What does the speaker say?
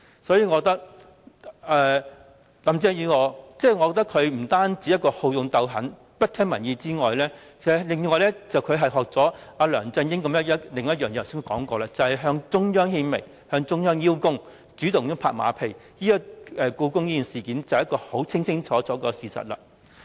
所以，我認為林鄭月娥除了好勇鬥狠，不聽民意之外，正如我剛才提及，她更學習到梁振英另一點，便是向中央獻媚，向中央邀功，主動拍馬屁，故宮便是一個清清楚楚的事實。